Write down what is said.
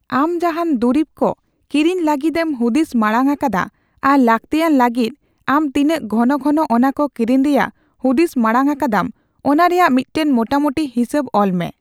ᱟᱢ ᱡᱟᱦᱟᱱ ᱫᱩᱨᱤᱵ ᱠᱚ ᱠᱤᱨᱤᱧ ᱞᱟᱹᱜᱤᱫᱮᱢ ᱦᱩᱫᱤᱥ ᱢᱟᱬᱟᱝ ᱟᱠᱟᱫᱟ ᱟᱨ ᱞᱟᱠᱛᱤᱭᱟᱱ ᱞᱟᱹᱜᱤᱫ, ᱟᱢ ᱛᱤᱱᱟᱹᱜ ᱜᱷᱚᱱᱚ ᱜᱷᱚᱱᱚ ᱚᱱᱟᱠᱚ ᱠᱤᱨᱤᱧ ᱨᱮᱭᱟᱜ ᱦᱩᱫᱤᱥ ᱢᱟᱬᱟᱝ ᱟᱠᱟᱫᱟᱢ ᱚᱱᱟ ᱨᱮᱭᱟᱜ ᱢᱤᱫᱴᱟᱝ ᱢᱚᱴᱟᱢᱩᱴᱤ ᱦᱤᱥᱟᱹᱵ ᱚᱞ ᱢᱮ ᱾